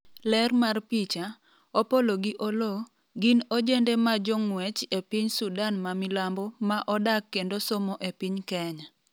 ler mar picha, Opollo gi Oloo ,gin ojende ma jong'wech e piny Sudan ma milambo ma odak kendo somo e piny Kenya